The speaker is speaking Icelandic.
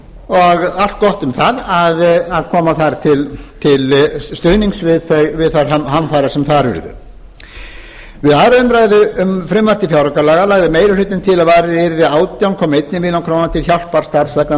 og allt gott um það að koma þar til stuðnings við þær hamfarir sem þar urðu við aðra umræðu frumvarps til fjáraukalaga lagði meiri hlutinn til að varið yrði átján komma eina milljón króna til hjálparstarfs vegna